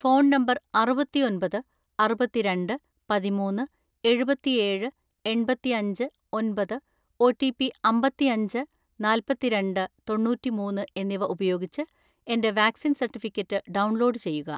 Phone number അറുപത്തിഒന്‍പത് അറുപത്തിരണ്ട് പതിമൂന്ന്‌ എഴുപത്തിഏഴ് എണ്‍പത്തിഅഞ്ച് ഒന്‍പത് , ഒ. റ്റി. പി അമ്പത്തിഅഞ്ച് നാല്‍പത്തിരണ്ട് തൊണ്ണൂറ്റിമൂന്ന് എന്നിവ ഉപയോഗിച്ച് എന്റെ വാക്‌സിൻ സർട്ടിഫിക്കറ്റ് ഡൗൺലോഡ് ചെയ്യുക.